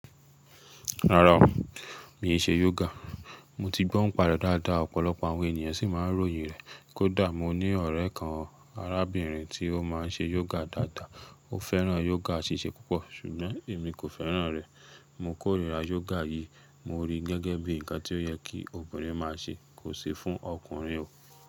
Rárá o, mi ò ṣe yoga. Mo ti gbó nipa rẹ̀ dáadáa, ọ̀pọ̀lọpọ̀ àwọn ènìyàn sì máa ń ròyìn rẹ̀. Kódà mo ní ọ̀rẹ́ kan arábìnrin tí ó má ń ṣe yoga dáadáa, ó fẹ́ràn yoga ṣíṣe púpọ̀ ṣùgbọ́n èmi kò fẹ́ràn rẹ̀. Mo kórìíra yoga yìí, mo rí i gẹ́gẹ́ bí ǹkan tí ó yẹ kí obìnrin má a ṣe kò sì fún ọkùnrin o.